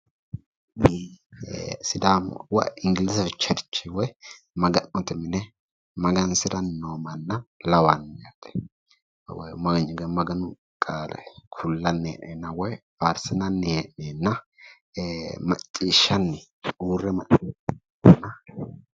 Sidaamu woyi ingilize churche woyi maga'note mine magansiranni noo manna lawanno. Maganu qaale kullanni hee'neenna woyi faarsinanni hee'neenna maccishshanni uurre macciishshanni no.